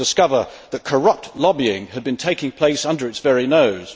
to discover that corrupt lobbying had been taking place under its very nose.